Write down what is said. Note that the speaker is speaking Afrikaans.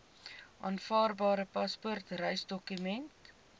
aanvaarbare paspoort reisdokument